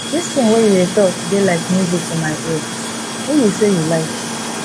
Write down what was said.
dis thing wey you dey talk dey like music for my ear who you say you like